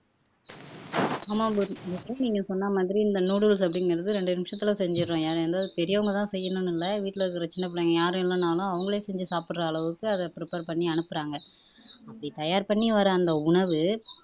ஆமா குரு நீங்க சொன்ன மாதிரி இந்த noodles அப்படிங்கறது ரெண்டு நிமிஷத்துல செஞ்சிடறோம் ஏ எந்த பெரியவங்கதான் செய்யணும்னு இல்லை வீட்டுல இருக்கற சின்ன பிள்ளைங்க யாரும் இல்லைன்னாலும் அவங்களே செஞ்சு சாப்பிடற அளவுக்கு அதை prepare பண்ணி அனுப்பறாங்க அப்படி தயார் பண்ணி வர அந்த உணவு